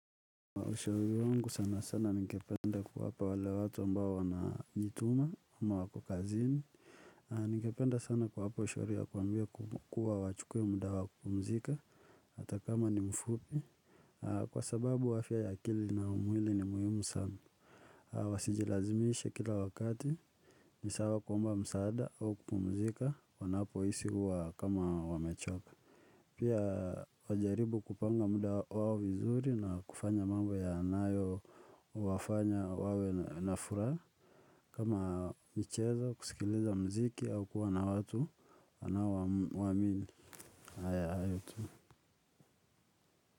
Ushauri wangu sana sana ningependa kuwapa wale watu ambao wanajituma ama wako kazini. Ningependa sana kuwapa ushauri ya kuwaambia kuwa wachukue muda wa kupumzika hata kama ni mfupi. Kwa sababu afya ya akili na mwili ni muhimu sana. Wasijilazimishe kila wakati ni sawa kuomba msaada au kupumzika wanapohisi huwa kama wamechoka. Pia wajaribu kupanga muda wao vizuri na kufanya mambo yanayowafanya wawe na furaha kama michezo kusikiliza muziki au kuwa na watu anaowaamini hayo tu.